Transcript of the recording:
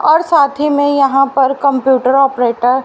और साथी में यहां पर कंप्यूटर ऑपरेटर --